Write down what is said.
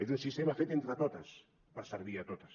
és un sistema fet entre totes per servir a totes